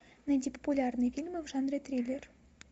найди популярные фильмы в жанре триллер